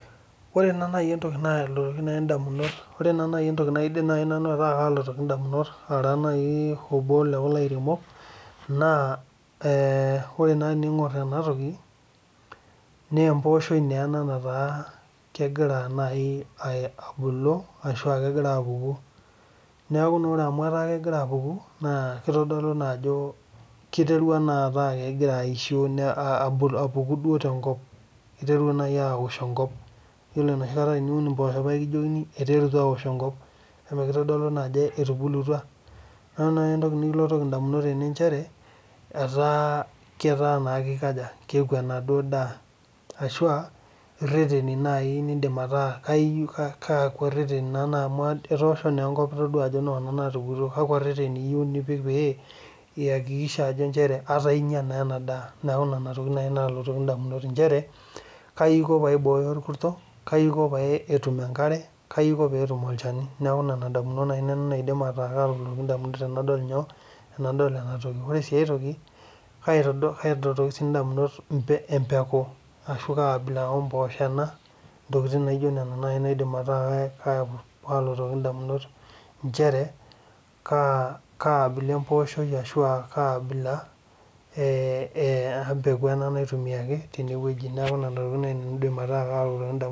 Ore naa naaji entoki naidim ataa kalotoki nanu edamunot Ara obo loo lairemok naa ore tening'or ena toki naa embosh nataa kegira ambulu ashu etaa kegira apuku naa ore naa amu etaa kegira apuku naa kitodolu Ajo kiterua kao kegira aishoo aku kegira apuku tenkop neeku ore entoki nikilotokie edamunot Tena naa etaa keeku enaduo daa ashu ereteni najii amu etosho naa enkop Nona natupukuo kakua reteni epik pee eyakikisha Ajo njere etaa enyia ena daa neeku enatoki naaji nalotoki edamunot njere kaji Aiko pee aiboyo orkurto kaji Aiko peetum enkare kaji Aiko pee etum olchani neeku Nena damunot naaji naidim ataa kalotoki edamunot tenadol ena ore sii aitoki kalotoki siiedamunot Ajo kapeku omboshok ena ashu kabilaa neeku ntokitin naijio nena najii naidim ataa kalotoki ndamunot njere kabila emboshok ashu kabila embeku naitumiai tenewueji neeku Nena tokitin naidim ataa kalotoki nanu edamunot